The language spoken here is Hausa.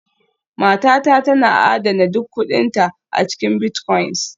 Matata tana adana duk kuɗinta a cikin bitcoins